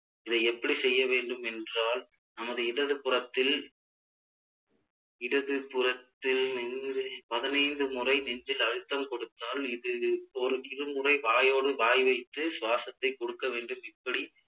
இதை எப்படி செய்ய வேண்டும் என்றால் நமது இடது புறத்தில் இடது புறத்தில் நெஞ்சில் பதினைந்து முறை நெஞ்சில் அழுத்தம் குடுத்தால் இது ஒரு இரு முறை வாயோடு வாய் வைத்து சுவாசத்தை கொடுக்க வேண்டும் இப்படி